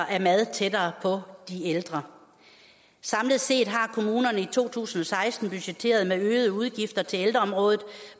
af mad tættere på de ældre samlet set har kommunerne i to tusind og seksten budgetteret med øgede udgifter til ældreområdet